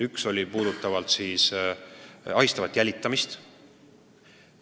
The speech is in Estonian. Üks puudutas ahistavat jälitamist.